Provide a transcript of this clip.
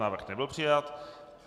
Návrh nebyl přijat.